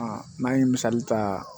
n'an ye misali ta